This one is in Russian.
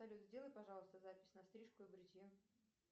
салют сделай пожалуйста запись на стрижку и бритье